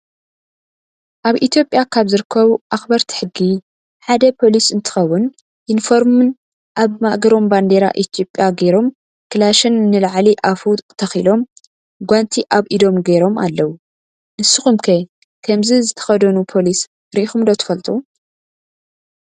ኣብ ኢትዮጵያ ካብ ዝርከቡ ኣክበርቲ ሕጊ ሓደ ፖሊስ እንትከውን ዩኒፎርምን ኣብ ማእገሮም ባንደራ ኢትዮጵያ ገይሮም ካላሽን ንላዕሊ ኣፉ ተኪሎም ጓንቲ ኣብ ኢዶም ገሮም ኣለው። ንሱኩም ከ ከምዚ ዝተከደኑ ፖሊስ ሪኢኩም ዶ ትፈልጡ?